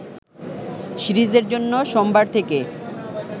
সিরিজের জন্য সোমবার থেকে